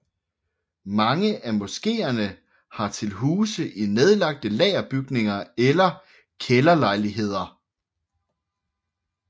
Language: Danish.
Mange af moskeerne har til huse i nedlagte lagerbygninger eller kælderlejligheder